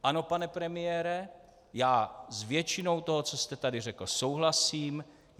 Ano, pane premiére, já s většinou toho, co jste tady řekl, souhlasím.